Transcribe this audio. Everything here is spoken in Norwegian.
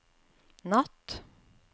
natt